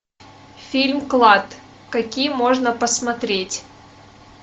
фильм клад какие можно посмотреть